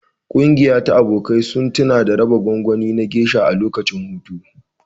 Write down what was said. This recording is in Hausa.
Ƙungiya ta abokai sun tuna da raba gwangwani na Geisha a lokacin hutu.